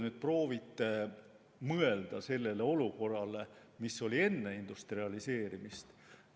Proovige mõelda sellele olukorrale, mis oli enne industrialiseerimist.